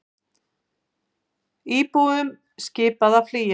Íbúum skipað að flýja